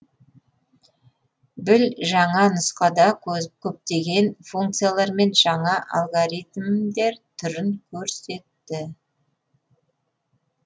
біл жаңа нұсқада көптеген функциялар мен жаңа алгоритмдер түрін көрсетті